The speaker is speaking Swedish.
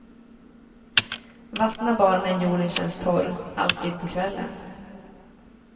Vattna bara när jorden känns torr, alltid på kvällen.